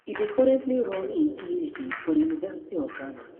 e dey currently run im phd for di university of ghana